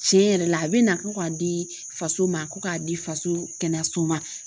Tiɲɛ yɛrɛ la a bɛ na ko k'a di faso ma ko k'a di faso kɛnɛyaso ma.